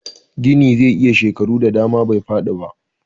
Gini zai iya shekaru da dama bai fadi ba